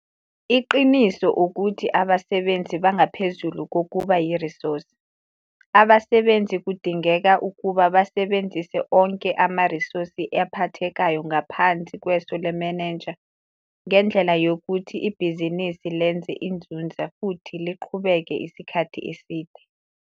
Iqiniso, ukuthi abasebenzi bangaphezulu kokuba yirisosi. Abasebenzi kudingeka ukuba basebenzise onke amarisosi ephathekayo ngaphansi kweso lemenenja ngendlela yokuthi ibhizinisi lenza inzuzo futhi iqhubeka isikhathi eside.